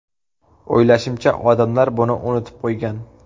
O‘ylashimcha, odamlar buni unutib qo‘ygan.